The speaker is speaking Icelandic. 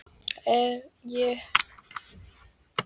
Ég fer nú að verða forvitinn sagði þá afinn spenntur.